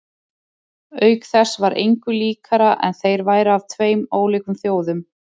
Auk þess var engu líkara en þeir væru af tveim ólíkum þjóðum.